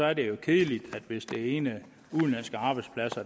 er det jo kedeligt hvis det ene